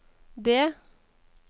det